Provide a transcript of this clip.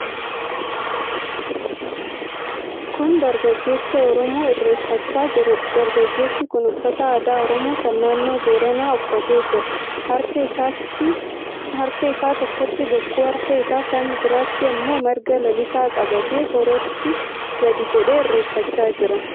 Kun dargaggeessa Oromoo irreeffachaa jirudha. Dargaggeessi kun uffata aadaa Oromoo kan naannoo Booranaa uffatee jira. Harka isaa tokkotti bokkuu, harka isaa kan biraatti immoo marga lalisaa qabatee harootti gadi jedhee irreeffachaa jira.